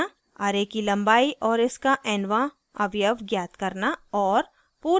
* array की लम्बाई और इसका nवाँ अवयव ज्ञात करना और